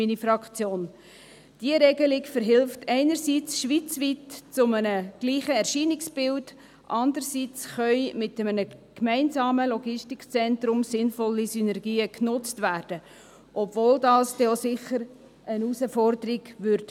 Diese Regelung verhilft einerseits schweizweit zu einem gleichen Erscheinungsbild, andererseits können mit einem gemeinsamen Logistikzentrum sinnvolle Synergien genutzt werden, obwohl das dann sicher auch eine Herausforderung darstellen wird.